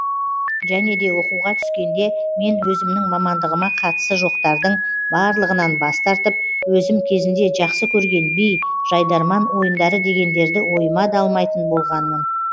және де оқуға түскенде мен өзімнің мамандығыма қатысы жоқтардың барлығынан бас тартып өзім кезінде жақсы көрген би жайдарман ойындары дегендерді ойыма да алмайтын болғанмын